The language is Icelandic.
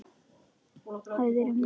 Hæðir í metrum.